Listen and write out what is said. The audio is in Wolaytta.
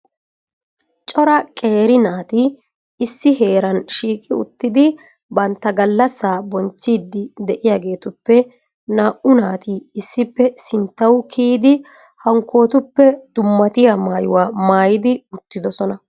Cora qeeri naati issi heeran shiiqi uttidi bantta gallassa bonchchidi de'iyaagetuppe naa"u naati issippe sinttaw kiyyidi hankkotuppe dummariya maayyuwaa maayyidi ittidoosona.